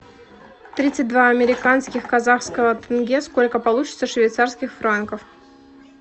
тридцать два американских казахского тенге сколько получится швейцарских франков